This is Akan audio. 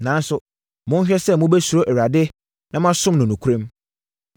Nanso, monhwɛ sɛ mobɛsuro Awurade na moasom no nokorɛm.